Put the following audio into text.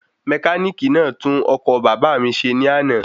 Mẹkánìkì náà tún okọ̀ bàbá mi ṣe ní àná